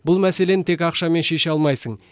бұл мәселені тек ақшамен шеше алмайсың